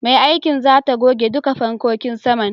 Mai aikin zata goge duka fankokin saman.